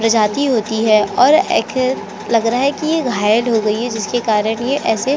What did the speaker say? प्रजाति होती है और ऐसे लग रहा है की घायल हो गई है जिसे इसे --